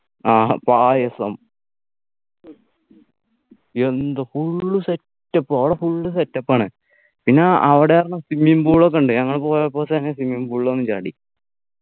ആഹ് പായസം എന്തൊക full set up അവിടെ set up ആണ് പിന്നെ അവിടാരുന്നു Swimming pool ഒക്കെ ഉണ്ട് ഞങ്ങൾ പോയപ്പോ തന്നെ Swimming pool ൽ ഒന്ന് ചാടി